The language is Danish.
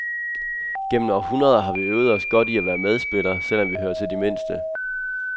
Gennem århundreder har vi øvet os godt i at være medspiller, selv om vi hører til de mindste.